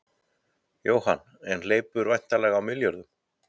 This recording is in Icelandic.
Jóhann: En hleypur væntanlega á milljörðum?